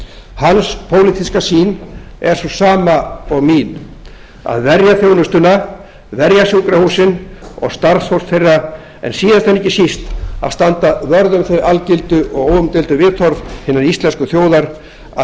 hans pólitíska sýn er sú sama og mín að verja þjónustuna verja sjúkrahúsin og starfsfólk þeirra en síðast en ekki síst að standa vörð um þau algildu og óumdeildu viðhorf hinnar íslensku þjóðar að